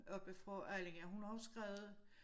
Oppe fra Allinge hun har også skrevet